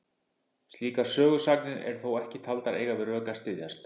Slíkar sögusagnir eru þó ekki taldar eiga við rök að styðjast.